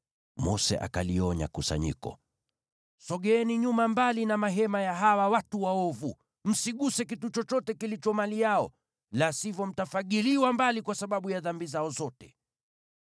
Mose akalionya kusanyiko, “Sogeeni nyuma mbali na mahema ya hawa watu waovu! Msiguse kitu chochote kilicho mali yao, la sivyo mtafagiliwa mbali kwa sababu ya dhambi zao zote.”